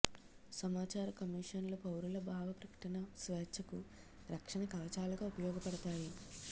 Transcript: సమాచార కమిషన్లు పౌరుల భావ ప్రకటన స్వేచ్ఛకు రక్షణ కవచాలుగా ఉపయోగపడతాయి